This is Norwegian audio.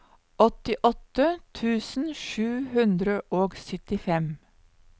åttiåtte tusen sju hundre og syttifem